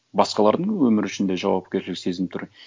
басқалардың өмірі үшін де жауапкершілік сезініп тұр